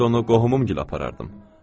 Mən də onu qohumum gilə aparardım.